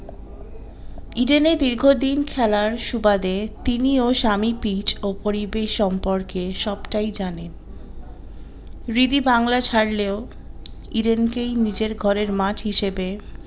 ইডেনে দীর্ঘদিন খেলার সুবাদে তিনি ও সামি pitch ও পরিবেশ সম্পর্কে সবটাই জানেন রিদি বাংলা ছাড়লেও ইডেনকে নিজের ঘরের মাঠ হিসাবে